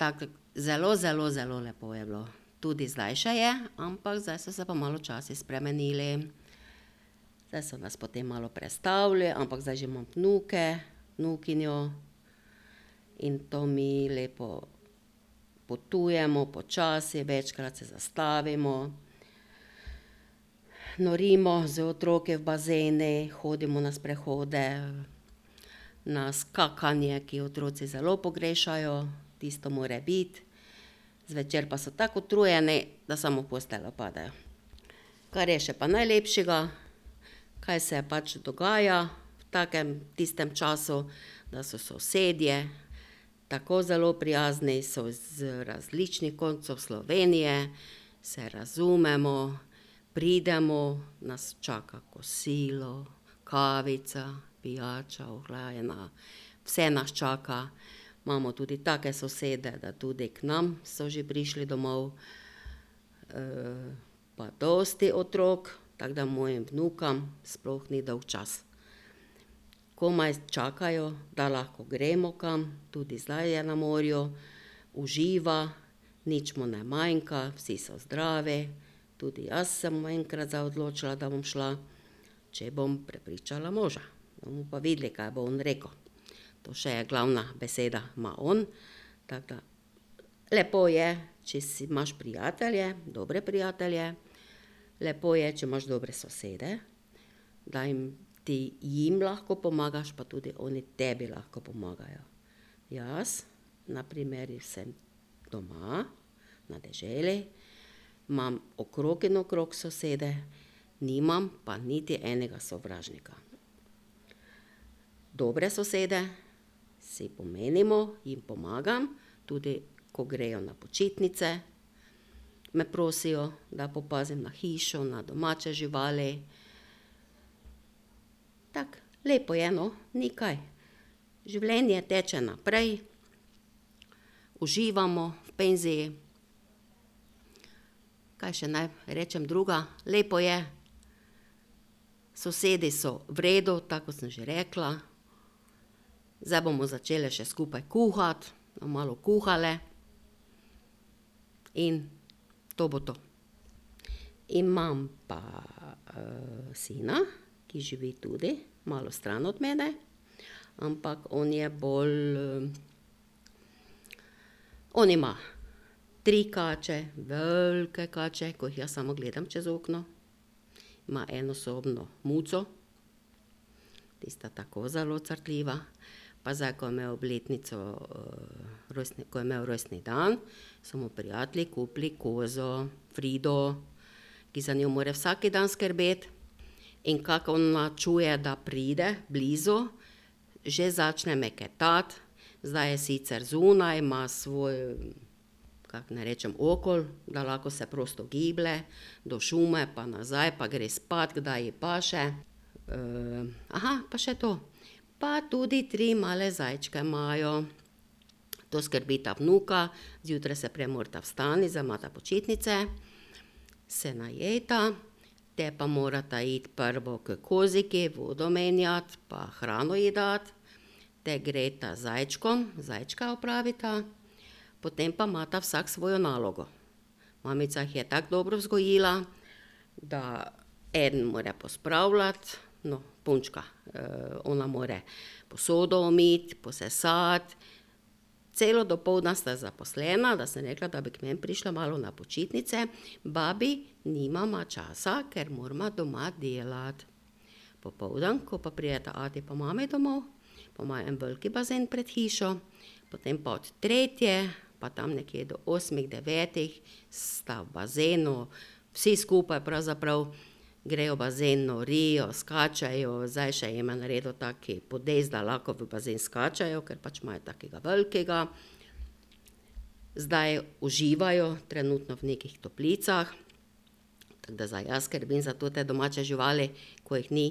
tako zelo, zelo, zelo lepo je bilo. Tudi zdaj še je, ampak zdaj so se pa malo časi spremenili. Zdaj so nas potem malo prestavili, ampak že imam vnuke, vnukinjo in to mi lepo potujemo počasi, večkrat se zastavimo. Norimo z otroki v bazenu, hodimo na sprehode, na skakanje, ki otroci zelo pogrešajo, tisto mora biti. Zvečer pa so tako utrujeni, da samo v posteljo padejo. Kar je še pa najlepšega, kaj se pač dogaja, v takem, tistem času, da so sosedje tako zelo prijazni, so z različnih koncev Slovenije, se razumemo, pridemo, nas čaka kosilo, kavica, pijača ohlajena. Vse nas čaka. Imamo tudi take sosede, da tudi k nam so že prišli domov, pa dosti otrok. Tako da mojim vnukom sploh ni dolgčas. Komaj čakajo, da lahko gremo kam, tudi zdaj je na morju, uživa, nič mu ne manjka, vsi so zdravi, tudi jaz sem enkrat zdaj odločila, da bom šla. Če bom prepričala moža. Bomo pa videli, kaj bo on rekel. To še je glavna beseda ima on, tako da ... Lepo je, če imaš prijatelje, dobre prijatelje, lepo je, če imaš dobre sosede, da jim, ti jim lahko pomagaš, pa tudi oni tebi lahko pomagajo. Jaz na primer sem doma na deželi, imam okrog in okrog sosede, nimam pa niti enega sovražnika. Dobre sosede si pomenimo, jim pomagam, tudi ko grejo na počitnice me prosijo, da popazim na hišo, na domače živali. Tako, lepo je, no. Ni kaj. Življenje teče naprej. Uživamo v penziji. Kaj še naj rečem drugega, lepo je. Sosedi so v redu, tako kot sem že rekla. Zdaj bomo začele še skupaj kuhati, bomo malo kuhale. In to bo to. Imam pa, sina, ki živi tudi malo stran od mene, ampak on je bolj, ... On ima tri kače, velike kače, ko jih jaz samo gledam čez okno, ima eno sobno muco, tista tako zelo crkljiva. Pa zdaj, ko je imel obletnico, ko je imel rojstni dan, so mu prijatelji kupili kozo Frido, ki za njo more vsak dan skrbeti, in kako ona čuje, da pride blizu, že začne meketati. Zdaj je sicer zunaj, ima svoj, kako naj rečem, okoli, da lahko se prosto giblje do šume pa nazaj pa gre spat, kdaj ji paše. pa še to. Pa tudi tri male zajčke imajo. To skrbita vnuka. Zjutraj se prej morata vstati, zdaj imata počitnice, se najesta, potem pa morata iti prvo h koziki vodo menjat pa hrano ji dat, te gresta zajčkom, zajčke opravita, potem pa imata vsak svojo nalogo. Mamica jih je tako dobro vzgojila, da eden mora pospravljati, no, punčka, ona mora posodo omiti, posesati, cel dopoldan sta zaposlena. Da sem rekla, da bi k meni prišla malo na počitnice, babi, nimava časa, ker morava doma delati. Popoldan, ko pa prideta ati pa mami domov, pa imajo en velik bazen pred hišo, potem pa od tretje pa tam nekje do osmih, devetih sta v bazenu. Vsi skupaj pravzaprav grejo v bazen, norijo, skačejo, zdaj še jima je naredil tak podest, da lahko v bazen skačejo, ker pač imajo takega velikega. Zdaj uživajo trenutno v nekih toplicah, tako da zdaj jaz skrbim za te domače živali, ko jih ni.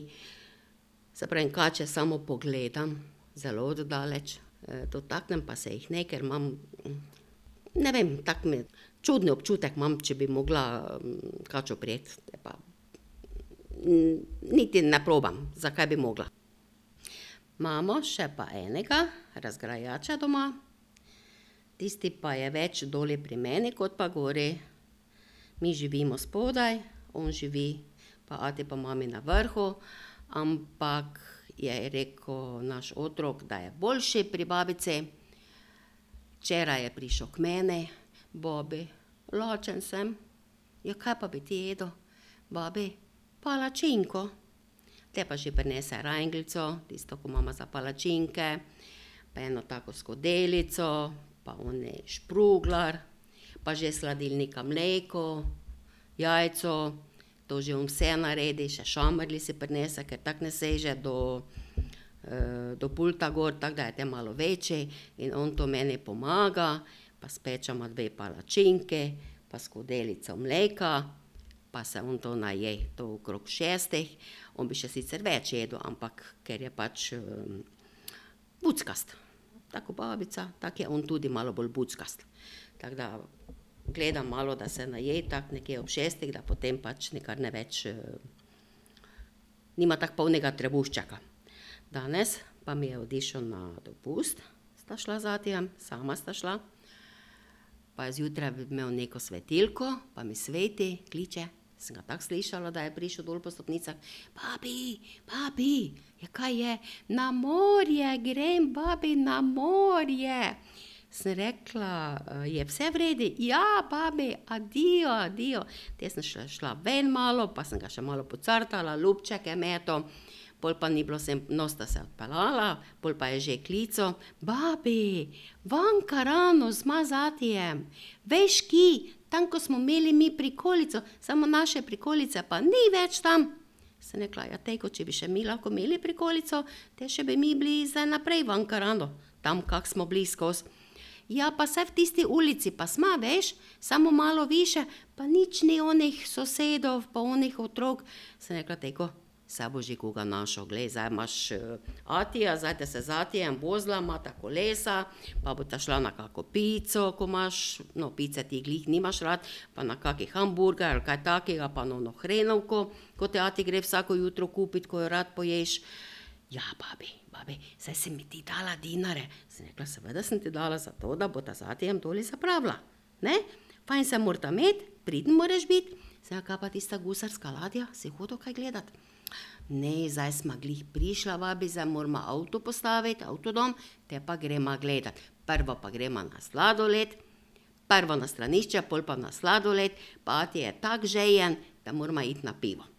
Saj pravim, kače samo pogledam zelo od daleč, dotaknem pa se jih ne, ker imam, ne vem, tako mi čuden občutek imam, če bi mogla, kačo prijeti, potem pa, niti ne probam, zakaj bi mogla. Imamo še pa enega razgrajača doma. Tisti pa je več doli pri meni kot pa gori. Mi živimo spodaj, on živi, pa ati pa mami, na vrhu. Ampak je rekel naš otrok, da je boljše pri babici. Včeraj je prišel k meni: "Babi, lačen sem." "Ja, kaj pa bi ti jedel?" "Babi, palačinko." Potem pa že prinese ranjgljico, tisto, ko imava za palačinke, pa eno tako skodelico, pa oni šprugljar, pa že iz hladilnika mleko, jajco. To že on vse naredi, še šamrli si prinese, ker tako ne seže do, do pulta gor, tako da je te malo večji. In on to meni pomaga, pa spečeva dve palačinki, pa skodelico mleka pa se on to naje. To okrog šestih. On bi še sicer več jedel, ampak ker je pač, buckast, tako ko babica, tako je on tudi malo bolj buckast. Tako da gledam malo, da se naje tako nekje ob šestih, da potem pač nikar ne več, nima tako polnega trebuščka. Danes pa mi je odšel na dopust, sta šla z atijem, sama sta šla. Pa je zjutraj imel neko svetilko, pa mi sveti, kliče, sem ga tako slišala, da je prišel dol po stopnicah. "Babi, babi." "Ja, kaj je?" "Na morje grem, babi, na morje." Sem rekla: je vse v redu?" "Ja, babi, adijo, adijo." Te sem še šla ven malo, pa sem ga še malo pocartala, ljubčke metal. Pol pa ni bilo no, sta se odpeljala, pol pa je že klical: "Babi, V Ankaranu sva z atijem. Veš, kje? Tam, ko smo imeli mi prikolico. Samo naše prikolice pa ni več tam." Sem rekla: "Ja, Tejko, če bi še mi lahko imeli prikolico, te še bi mi bili zdaj naprej v Ankaranu. Tam, kak smo bili skozi." "Ja, pa saj v tisti ulici pa sva, veš. Samo malo višje, pa nič ni onih sosedov pa onih otrok." Sem rekla: "Tejko, saj boš že koga našel. Glej, zdaj imaš, atija, zdaj te se z atijem vozila, imata kolesa, pa bosta šla na kako pico, ko imaš, no, pice ti glih nimaš rad, pa na kak hamburger ali kaj takega, pa na ono hrenovko, ko ti ati gre vsako jutro kupit, ko jo rad poješ." "Ja, babi. Babi, saj si mi ti dala dinarje." Sem rekla: "Seveda sem ti dala. Zato, da bosta z atijem doli zapravila. Ne? Fajn se morata imeti, priden moraš biti." Sem rekla: "Kaj pa tista gusarska ladja? Si hodil kaj gledat?" "Ne, zdaj sva glih prišla, babi, zdaj morava avto postaviti, avtodom, potem pa greva gledat. Prvo pa greva na sladoled, prvo na stranišče, pol pa na sladoled, pa ati je tako žejen, da morava iti na pivo."